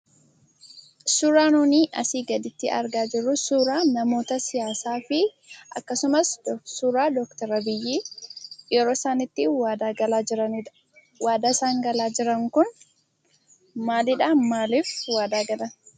Suuraan nuni asii gaditti argaa jirru suuraa nammoota siyaasaafi akkasumas suuraa Dooktor Abiy Ahmed yeroo isaan itti waadaa galaa jiranidha. Waadaan isaan galaa jiran kun maalidhaa? Maaliif waadaa galaa turan?